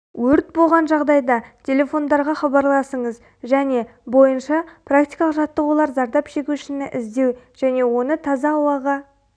өрт боған жағдайда телефондарға хабарласыңыз және бойынша практикалық жаттығулар зардап шегушіні іздеу және оны таза ауаға